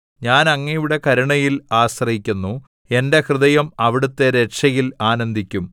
ഞാൻ അങ്ങയുടെ കരുണയിൽ ആശ്രയിക്കുന്നു എന്റെ ഹൃദയം അവിടുത്തെ രക്ഷയിൽ ആനന്ദിക്കും